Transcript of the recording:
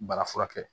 Bana furakɛ